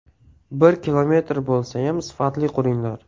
Bir kilometr bo‘lsayam, sifatli quringlar.